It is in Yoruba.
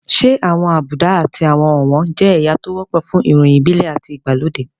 Ṣé àwọn àbùdá àti àwọn ọ̀wọ̀n jẹ́ ẹ̀yà tó wọ́pọ̀ fún ìròyìn ìbílẹ̀ àti ìgbàlódé?